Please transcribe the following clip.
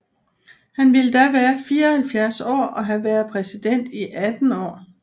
Han ville da være 74 år og have været præsident i 18 år